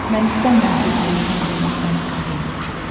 Mən istəmirəm ki, sizin taleyiniz mənim taleyimə oxşasın.